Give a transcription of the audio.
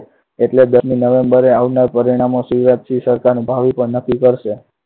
એટલે દસમી november એ આવનાર પરિણામો શિવરાજસિંહ સરકારનું ભાવિ નક્કી કરશે.